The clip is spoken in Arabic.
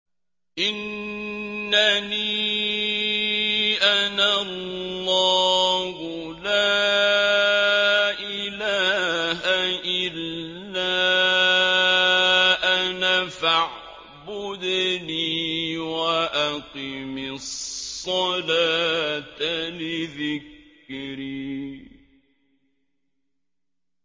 إِنَّنِي أَنَا اللَّهُ لَا إِلَٰهَ إِلَّا أَنَا فَاعْبُدْنِي وَأَقِمِ الصَّلَاةَ لِذِكْرِي